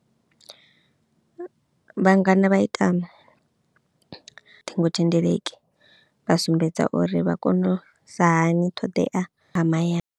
Vhangana vha ita na ṱhingothendeleki vha sumbedza uri vha kono sa hani ṱhoḓea a mahayani.